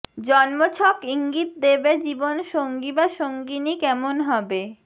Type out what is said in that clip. জন্মছক ইঙ্গিত দেবে জীবন সঙ্গী বা সঙ্গিনী কেমন হবে